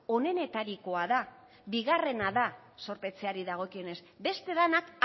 onenetarikoa da bigarrena da zorpetzeari dagokionez beste denak